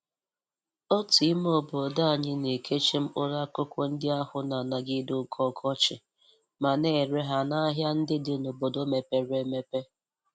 Otu ime obodo anyị na-ekechi mkpụrụ akụkụ nndi ahụ na-anagide oke ọkọchị ma na-ere ha n'ahia ndị dị n'obodo mepere emepe.